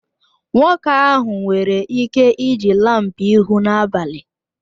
Nwoke ahụ nwere ike iji laampụ ịhụ n'abalị